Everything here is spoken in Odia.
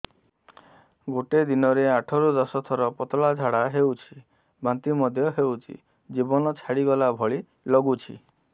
ଗୋଟେ ଦିନରେ ଆଠ ରୁ ଦଶ ଥର ପତଳା ଝାଡା ହେଉଛି ବାନ୍ତି ମଧ୍ୟ ହେଉଛି ଜୀବନ ଛାଡିଗଲା ଭଳି ଲଗୁଛି